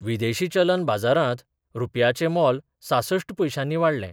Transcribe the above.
विदेशी चलन बाजारांत रुपयाचें मोल सांसष्ठ पयशांनी वाडलें.